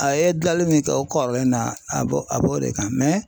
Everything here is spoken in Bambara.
A ye dilali min kɛ o kɔrɔlen na a b'o a b'o de kan